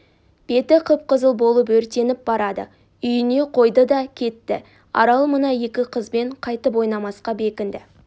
беті қып-қызыл болып өртеніп барады үйіне қойды да кетті арал мына екі қызбен қайтып ойнамасқа бекінді